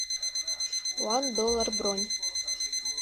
ван доллар бронь